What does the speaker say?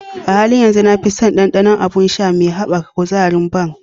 A halin yanzu, na fi son ɗanɗanon abun sha me haɓaka kuzari na "Bang".